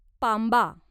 पांबा